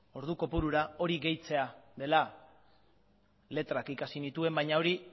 ordu kopurura hori gehitzea dela letrak ikasi nituen baina hori